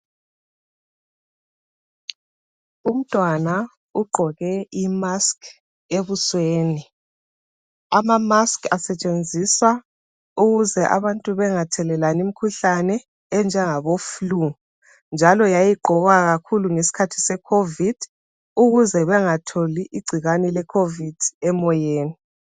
Umntwana ugqoke i mask ebusweni. Ama mask asetshenziswa ukuze abantu bengathelelani imkhuhlane enjengabo flue, njalo yayigqokwa kakhulu ngesikhathi se COVID ukuze bangatholi igcikwane le COVID emoyeni.